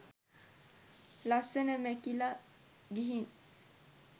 ලස්සන මැකිල ගිහින්.